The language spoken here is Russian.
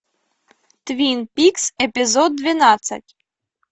твин пикс эпизод двенадцать